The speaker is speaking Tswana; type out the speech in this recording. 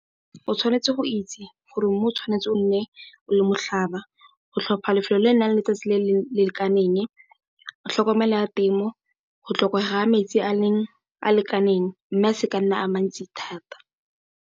O tshwanetse go itse gore mmu o tshwanetse o nne o le motlhaba, go tlhopha lefelo le le nang le letsatsi le le lekaneng, tlhokomelo ya temo, go tlhokega metsi a a lekaneng mme a se ka a nna a a mantsi thata.